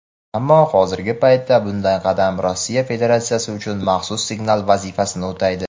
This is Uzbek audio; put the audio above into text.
ammo hozirgi paytda bunday qadam Rossiya Federatsiyasi uchun "maxsus signal" vazifasini o‘taydi.